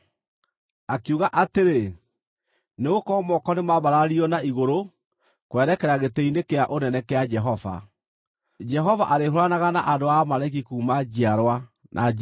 Akiuga atĩrĩ, “Nĩgũkorwo moko nĩmambararirio na igũrũ kwerekera gĩtĩ-inĩ kĩa ũnene kĩa Jehova. Jehova arĩhũũranaga na andũ a Amaleki kuuma njiarwa na njiarwa.”